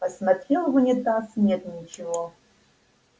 посмотрел в унитаз нет ничего